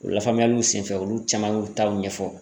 O lafaamuyaliw sen fɛ olu caman y'u taw ɲɛfɔ